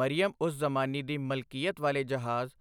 ਮਰੀਅਮ ਉਜ਼ ਜ਼ਮਾਨੀ ਦੀ ਮਲਕੀਅਤ ਵਾਲੇ ਜਹਾਜ਼